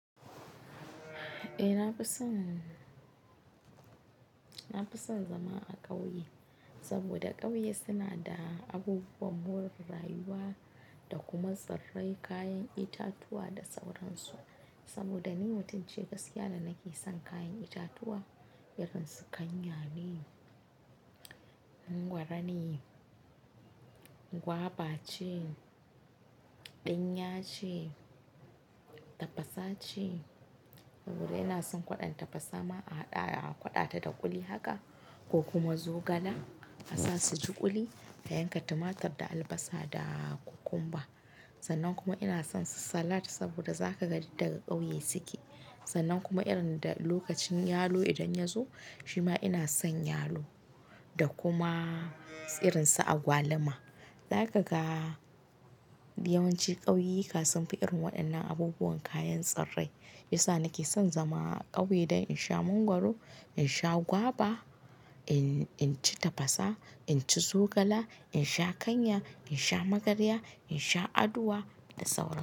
Eh, na fi son, na fi son zama a ƙauye. Saboda ƙauye suna da abubuwan more rayuwa da kuma tsirrai, kayan itatuwa da sauransu. Saboda ni mutum ce gaskiya da nake son kayan itatuwa irin su kanya ne, mangwaro ne, gwaba ce, ɗinya ce, tafasa ce. Saboda ina son kwaɗon tafasa ma a haɗa, a ƙwaɗa ta da kuli haka ko kuma zogala a sa su ji kuli, a yanka tumatur da albasa da kukumba. Sannan kuma ina son su salat saboda za ka ga duk daga ƙauye suke. Sannan kuma irin da lokacin yalo idan ya zo, shi ma ina son yalo da kuma irin su agwaluma. Zaka ga yawanci ƙauye kasunfi irin waɗannan abubuwan kayan tsirrai. Isa nake son zama a ƙauye don in sha mangwaro, in sha gwaba, in, in ci tafasa, in ci zogala, in sha ƙanya, in sha magarya, in sha aduwa da sauransu.